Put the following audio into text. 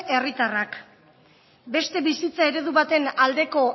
herritarrak beste bizitza eredu baten aldeko